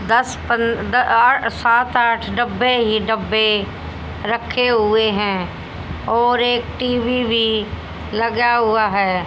दस पन द अअ सात आठ डब्बे ही डब्बे रखे हुए हैं और एक टी_वी भी लगा हुआ है।